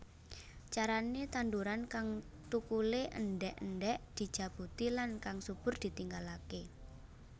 Carane tanduran kang thukule endhek endhek dijabuti lan kang subur ditinggalake